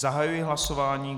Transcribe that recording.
Zahajuji hlasování.